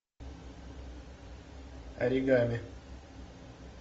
оригами